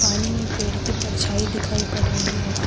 पानी में पेड़ की परछाई दिखाई पड़ रही है।